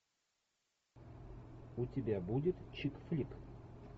у тебя будет чик флик